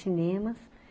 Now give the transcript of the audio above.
cinema.